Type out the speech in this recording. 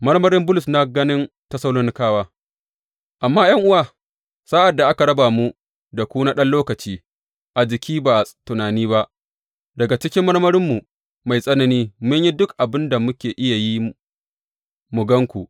Marmarin Bulus na ganin Tessalonikawa Amma, ’yan’uwa, sa’ad da aka raba mu da ku na ɗan lokaci a jiki, ba a tunani ba, daga cikin marmarinmu mai tsanani mun yi duk abin da muke iya yi mu gan ku.